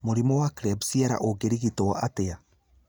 Mũrimũ wa Klebsiella ũngĩrigitwo atĩa?